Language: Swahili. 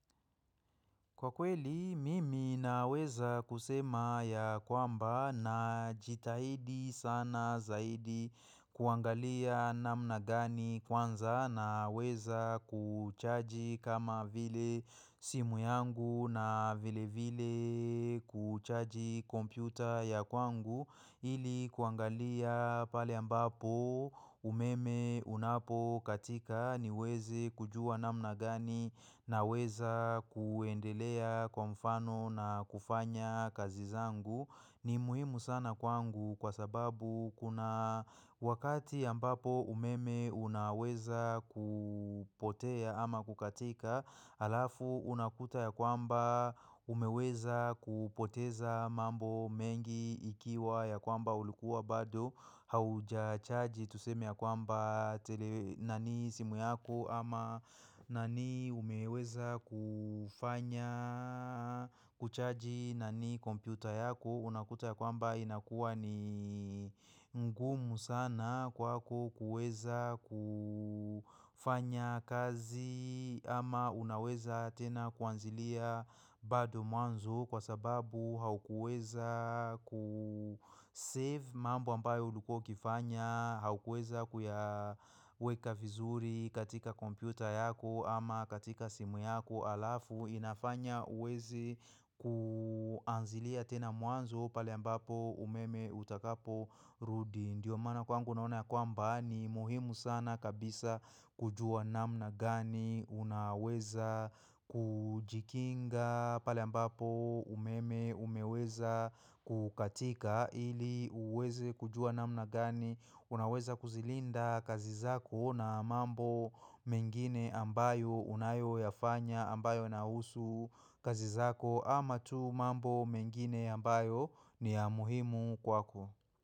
Kwa kweli mimi naweza kusema ya kwamba najitahidi sana zaidi kuangalia namna gani kwanza naweza kuchaji kama vile simu yangu na vile vile kuchaji kompyuta ya kwangu ili kuangalia pale ambapo umeme unapokatika niweze kujua namna gani naweza kuendelea kwa mfano na kufanya kazi zangu. Ni muhimu sana kwangu kwa sababu kuna wakati ambapo umeme unaweza kupotea ama kukatika Alafu unakuta ya kwamba umeweza kupoteza mambo mengi ikiwa ya kwamba ulikuwa bado haujachaji tuseme ya kwamba tele na ni simu yako ama na ni umeweza kufanya kuchaji na ni kompyuta yako. Unakuta ya kwamba inakua ni ngumu sana kwako kuweza kufanya kazi ama unaweza tena kuanzilia bado mwanzo kwa sababu haukuweza kusave mambo ambayo ulikuwa ukifanya haukuweza kuya weka vizuri katika kompyuta yako ama katika simu yako alafu inafanya huwezi kuanzilia tena mwanzo pale ambapo umeme utakaporudi. Ndiyo maana kwangu naona ya kwamba ni muhimu sana kabisa kujua namna gani unaweza kujikinga pale ambapo umeme umeweza kukatika ili uweze kujua namna gani unaweza kuzilinda kazi zako na mambo mengine ambayo unayoyafanya ambayo nahusu kazi zako ama tu mambo mengine ambayo ni ya muhimu kwako.